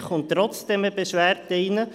Dann wird trotzdem eine Beschwerde eingehen.